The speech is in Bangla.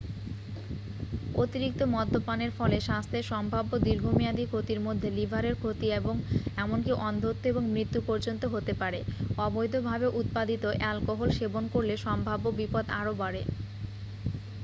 অতিরিক্ত মদ্যপানের ফলে স্বাস্থ্যের সম্ভাব্য দীর্ঘমেয়াদী ক্ষতির মধ্যে লিভারের ক্ষতি এবং এমনকি অন্ধত্ব এবং মৃত্যু পর্যন্ত হতে পারে অবৈধভাবে উৎপাদিত অ্যালকোহল সেবন করলে সম্ভাব্য বিপদ আরও বাড়ে